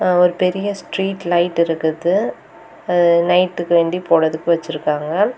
ஒரு பெரிய street light இருக்குது. அ நைட்டுக்கு வேண்டி போடுறதுக்கு வச்சிருக்காங்க.